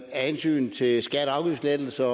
hensyn til skatte og afgiftslettelser